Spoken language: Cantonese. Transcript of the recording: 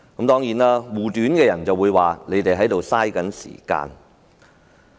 當然，護短的人會說我們在浪費時間。